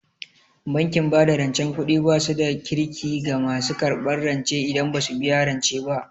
Bankin bada rancen kuɗi basu da Kirki ga masu karɓan rance idan basu biya rance ba